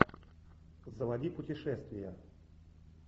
заводи путешествия